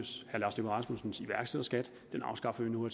rasmussens iværksætterskat den afskaffer vi nu